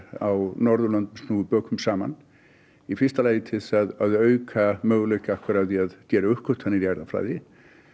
á Norðurlöndum snúi bökum saman í fyrsta lagi til þess að auka möguleika á því að gera uppgötvanir í erfðafræði